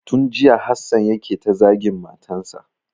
Tun jiya Hassan yake ta zagin matan sa.